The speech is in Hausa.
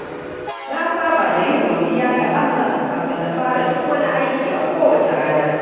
Na saba da yin godiya ga Allah kafin na fara duk wani aiki a kowace rana.